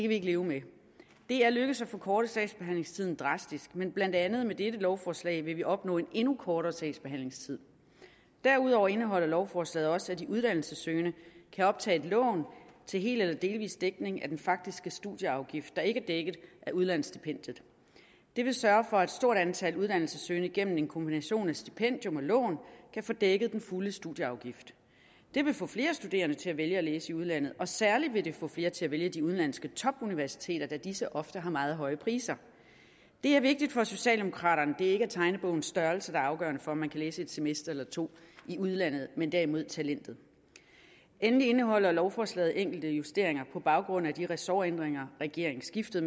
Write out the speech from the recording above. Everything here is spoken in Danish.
vi ikke leve med det er lykkedes at forkorte sagsbehandlingstiden drastisk men blandt andet med dette lovforslag vil vi opnå en endnu kortere sagsbehandlingstid derudover indeholder lovforslaget også at de uddannelsessøgende kan optage et lån til hel eller delvis dækning af den faktiske studieafgift der ikke er dækket af udlandsstipendiet det vil sørge for at et stort antal uddannelsessøgende gennem en kombination af stipendium og lån kan få dækket den fulde studieafgift det vil få flere studerende til at vælge at læse i udlandet og særlig vil det få flere til at vælge de udenlandske topuniversiteter da disse ofte har meget høje priser det er vigtigt for socialdemokraterne det ikke er tegnebogens størrelse der er afgørende for om man kan læse et semester eller to i udlandet men derimod talentet endelig indeholder lovforslaget enkelte justeringer på baggrund af de ressortændringer regeringsskiftet